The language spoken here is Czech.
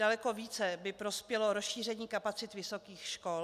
Daleko více by prospělo rozšíření kapacit vysokých škol.